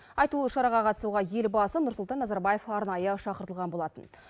айтулы шараға қатысуға елбасы нұрсұлтан назарбаев арнайы шақыртылған болатын